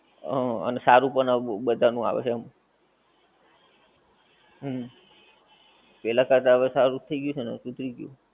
હ અને સારું પણ બધાં નું આવે છે આમ હમ પેહલા કરતા હવે સારું થઈ ગયું છે ને શુધરી ગયું છે